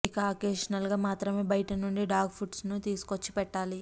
ఇక అకేషనల్ గా మాత్రమే బయట నుండి డాగ్ ఫుడ్స్ ను తీసుకొచ్చి పెట్టాలి